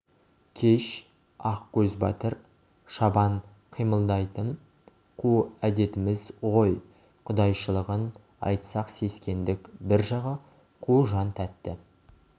кеш ақкөз батыр шабан қимылдайтын қу әдетіміз ғой құдайшылығын айтсақ сескендік бір жағы қу жан тәтті